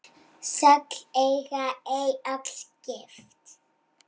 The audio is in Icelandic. Notagildi pólons felst í því að það er hreinn alfa-gjafi.